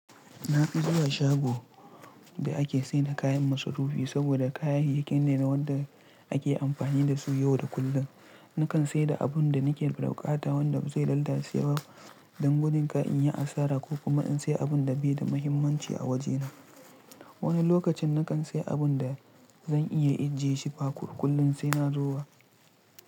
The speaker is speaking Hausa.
Na fi zuwa shago da ake sayar da kayan masarufi saboda kayayyakin ne na wanda ake amfani da su yau da kullum. Nakan sayar da abun da nake da ɓukata wanda ba zai lalace ba don gudun kai in yi asara ko kuma in sayi abun da bai da muhimmanci a waje na. Wani lokacin nakan sayi abun da zan iya ajiyeshi ba kullum sai na zo ba.